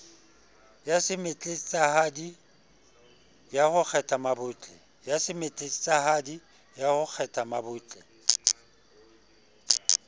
ya semetletsahadi ya ho kgethammabotle